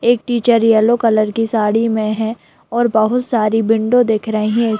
एक teacher yellow colour की साड़ी में है और बहुत सारी विंडो दिख रही हैं।